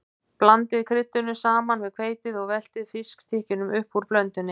Blandið kryddinu saman við hveitið og veltið fiskstykkjunum upp úr blöndunni.